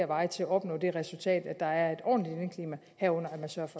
veje til at opnå det resultat at der er et ordentligt indeklima herunder